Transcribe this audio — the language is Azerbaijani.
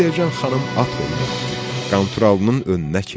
Selcan xanım at oynatdı, Qanturalının önünə keçdi.